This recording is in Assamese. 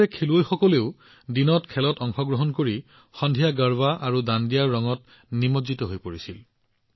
আনহাতে খেলুৱৈসকলেও দিনত খেলবোৰত অংশগ্ৰহণ কৰিছিল সন্ধিয়া তেওঁলোকে গৰ্বা আৰু দাণ্ডিয়াৰ ৰঙত নিমজ্জিত হৈ পৰিছিল